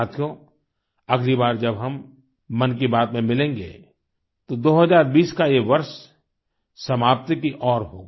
साथियों अगली बार जब हम मन की बात में मिलेंगे तो 2020 का ये वर्ष समाप्ति की ओर होगा